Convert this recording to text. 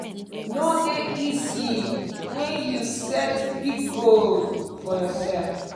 no dey easy wen you set big goal for yoursef".